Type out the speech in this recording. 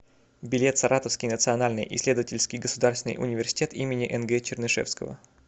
билет саратовский национальный исследовательский государственный университет им нг чернышевского